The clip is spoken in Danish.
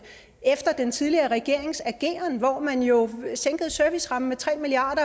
efter den tidligere regerings ageren hvor man jo sænkede servicerammen med tre milliard